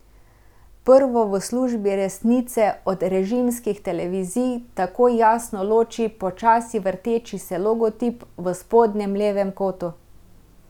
Prvo v službi Resnice od režimskih televizij takoj jasno loči počasi vrteči se logotip v spodnjem levem kotu.